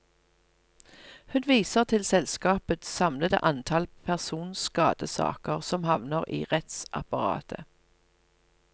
Hun viser til selskapets samlede antall personskadesaker som havner i rettsapparatet.